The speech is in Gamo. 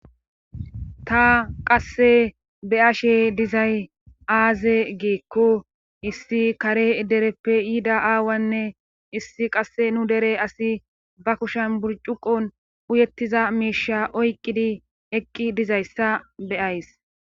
ta qasse be7ashe dizay aaze giikko issi kare dereppe yida aawanne issi qassi nu dere asi ba kushen burccuqqon uyettiza miisha oyqqidi eqqi dizayssa be7ays.